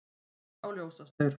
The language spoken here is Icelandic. Ók á ljósastaur